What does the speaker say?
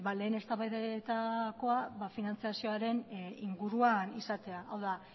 lehen eztabaidetakoa finantziazioaren inguruan izatea hau da